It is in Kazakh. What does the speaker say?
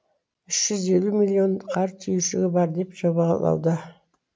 үш жүз елу миллион қар түйіршігі бар деп жобалауда